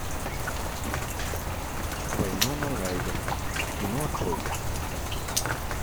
вайнона райдер кино открой